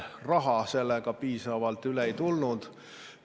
Raha sellega piisavalt üle ei tulnud.